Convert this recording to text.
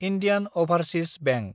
Indian overseas bank